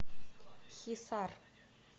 хисар